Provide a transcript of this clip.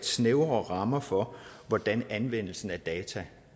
snævre rammer for hvordan anvendelsen af data